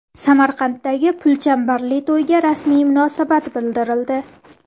Samarqanddagi pulchambarli to‘yga rasmiy munosabat bildirildi.